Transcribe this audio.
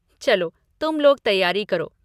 चलो तुम लोग तैयारी करो।